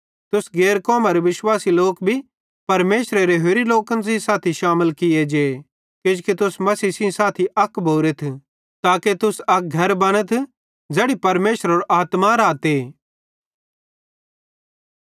तुस गैर कौमरे विश्वासी लोक भी परमेशरेरे होरि लोकन सेइं साथी शामिल किये जे किजोकि तुस मसीह सेइं साथी अक भोरेथ ताके तुस अक घर बनथ ज़ैड़ी परमेशरेरो आत्मा रहते